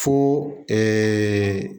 Fo ɛɛ